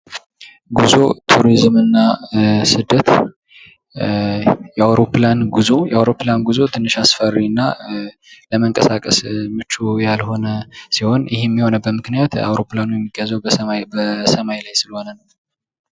ጉዞ ቱሪዝም እና ስደት የአውሮፕላን ጉዞ ትንሽ አስፈሪ እና ለምንቀሳቀስ ምቹ ያልሆነ ሲሆን ይህም የሆነበት ምክንያት አውሮፕላኑ የሚጓዘው በሰማይ ላይ ስለሆነ ነው።